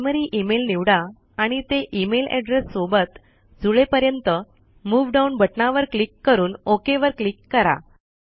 primary email निवडा आणि ते इमेल एड्रेस सोबत जुळेपर्यंत मूव डाउन बटनावर क्लिक करून ओक वर क्लीक करा